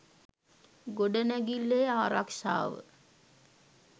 ගොඩනැගිල්ලේ ආරක්‍ෂාව